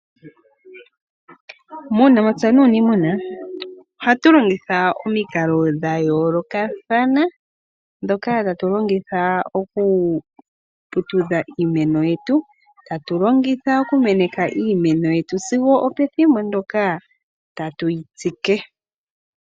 Muunamapya nuuniimuna ohatu longitha omikalo dhayoolokathana ndhoka tatu longitha okuputudha iimeno yetu. Tatu longitha okumeneka iimeno yetu sigo opethimbo ndyoka tatu yitsike.